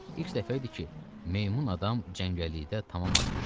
İlk dəfə idi ki, meymun adam cəngəllikdə tamam azmışdı.